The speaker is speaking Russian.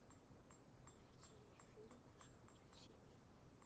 найти фильм жанра семейный